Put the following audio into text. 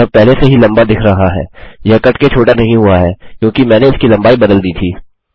यह पहले से ही लम्बा दिख रहा है यह कटके छोटा नहीं हुआ है क्योंकि मैंने इसकी लम्बाई बदल दी थी